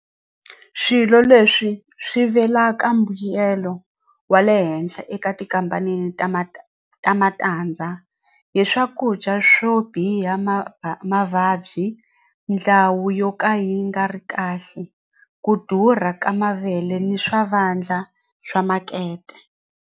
Swilo leswi swivelaka mbuyelo wa le henhla eka tikhampanini ta ma ta matandza hi swakudya swo biha ma mavabyi ndhawu yo ka yi nga ri kahle ku durha ka mavele ni swa vandla swa makete.